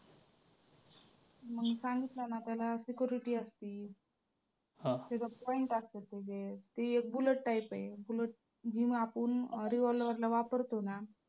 मग सांगितलं ना त्याला security असती. त्याच्यात point असतात त्याचे ती एक bullet type आहे जी आपण revolver ला वापरतो ना